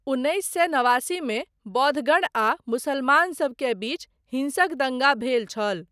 उन्नैस सए नवासीमे बौद्धगण आ मुसलमानसब के बीच हिंसक दङ्गा भेल छल।